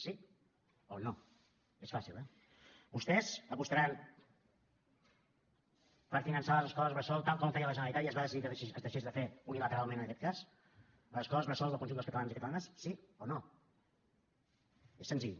sí o no és fàcil eh vostès apostaran per finançar les escoles bressol tal com feia la generalitat i es va decidir que es deixés de fer unilateralment en aquest cas les escoles bressol del conjunt dels catalans i catalanes sí o no és senzill